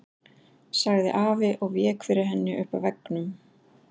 sagði afi og vék fyrir henni upp að veggnum.